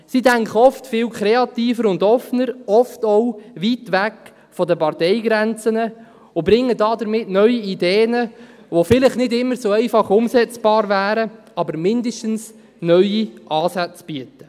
Sie denken oft viel kreativer und offener, oft auch weit weg von den Parteigrenzen, und bringen damit neue Ideen, die vielleicht nicht immer so einfach umsetzbar sind, aber mindestens neue Ansätze bieten.